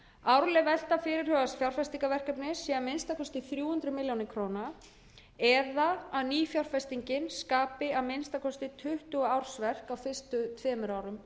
árleg velta fyrirhugaðs fjárfestingarverkefna sé að minnsta kosti þrjú hundruð milljóna króna eða að nýfjárfestingin skapi að minnsta kosti tuttugu ársverk á fyrstu tveimur árum